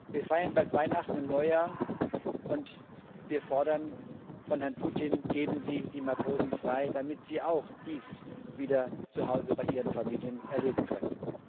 Wir feiern bald Weihnachten und Neujahr, und wir fordern von Herrn Putin Geben Sie die Matrosen frei, damit sie auch dies wieder zu Hause bei ihren Familien erleben können!